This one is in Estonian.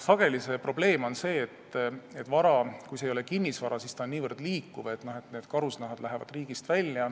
Sageli on probleem, et see, mis ei ole kinnisvara, on väga liikuv, näiteks need karusnahad võivad minna riigist välja.